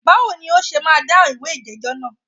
Báwo ni o ṣe máa dáhùn ìwé ìjẹ́jọ́ náà?